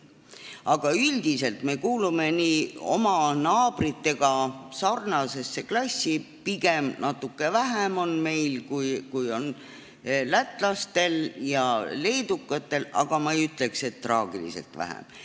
Aga üldiselt me kuulume oma naabritega sarnasesse klassi, pigem on meil pühi natuke vähem, kui on lätlastel ja leedukatel, aga ma ei ütleks, et traagiliselt vähem.